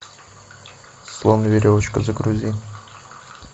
слон и веревочка загрузи